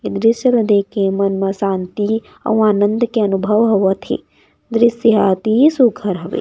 ए दृस्य ल देख के मन म शांति अउ आनंद के अनुभव होवत हे दृस्य अति सुघ्घर हवे।